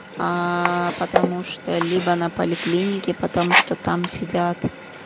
аа потому что либо на поликлинике потому что там сидят